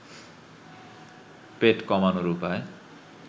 পেট কমানোর উপায়